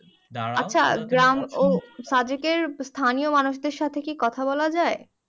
সাদেকের স্থানীয় মানুষদের সাথে কি কথা বলা যাই